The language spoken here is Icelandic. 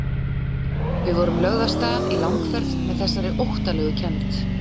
Við vorum lögð af stað í langferð með þessari óttalegu kennd.